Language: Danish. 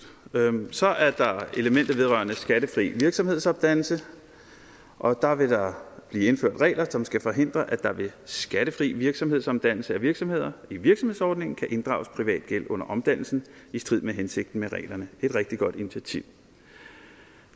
så er der elementer vedrørende skattefri virksomhedsomdannelse og der vil der blive indført regler som skal forhindre at der ved skattefri virksomhedsomdannelse af virksomheder i virksomhedsordningen kan inddrages privat gæld under omdannelsen i strid med hensigten med reglerne det er et rigtig godt initiativ